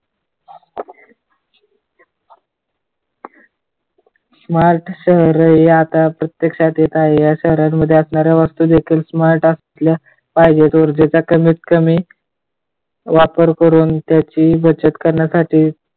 Smart शहर हे आता प्रत्यक्षात येत आहे. या शहरांमध्ये असणाऱ्या वस्तू smart अस्ल्या पाहिजेत. ज्याच्या कमीत कमी वापर करून त्याची बचत करण्यासाठी